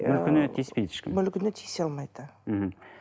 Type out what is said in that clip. мүлкіне тиіспейді ешкім мүлкіне тиісе алмайды мхм